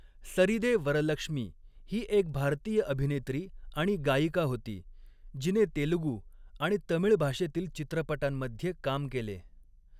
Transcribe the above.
सरीदे वरलक्ष्मी ही एक भारतीय अभिनेत्री आणि गायिका होती, जिने तेलुगू आणि तमिळ भाषेतील चित्रपटांमध्ये काम केले.